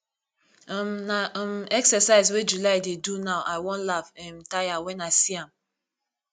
um na um exercise wey july dey do now i i wan laugh um tire wen i see am